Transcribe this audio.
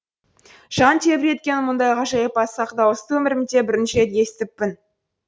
жан тебіренткен мұндай ғажайып асқақ дауысты өмірімде бірінші рет естіппін